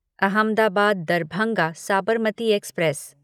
Ahmedabad Darbhanga Sabarmati express